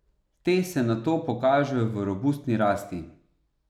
Te se nato pokažejo v robustni rasti.